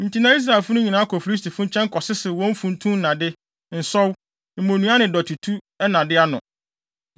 Enti na Israelfo no nyinaa kɔ Filistifo nkyɛn kɔsesew wɔn funtum nnade, nsɔw, mmonnua ne dɔtetu nnade ano.